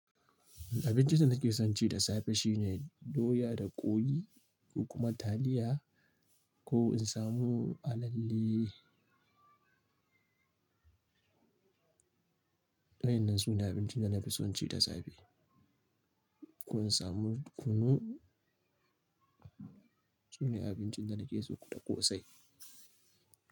Abincin da nake son ci da safe shine doya da ƙwai ko kuma taliya ko in samu alalle. Waɗannan su ne abincin da na fi son ci da safe. Ko in samu kunu. Su ne abincin da nake so da ƙosai.